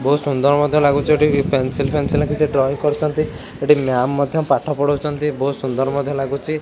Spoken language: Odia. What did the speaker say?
ବହୁତ୍ ସୁନ୍ଦର ମଧ୍ୟ ଲାଗୁଛି ଏଠି ପେନସିଲ ଫେନ୍ସିଲ କିଛି ଡ୍ରଇଂ କରୁଛନ୍ତି ଏଠି ମାମ୍ ମଧ୍ୟ ପାଠ ପଢ଼ାଉଛନ୍ତି ବହୁତ୍ ସୁନ୍ଦର ମଧ୍ୟ ଲାଗୁଛି।